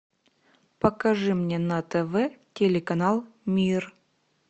покажи мне на тв телеканал мир